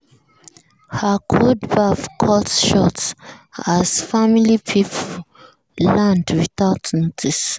her cold baff cut short as family people land without notice.